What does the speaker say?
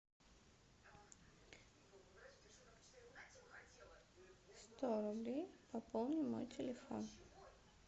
сто рублей пополни мой телефон